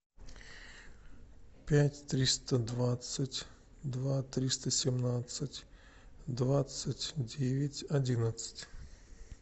пять триста двадцать два триста семнадцать двадцать девять одиннадцать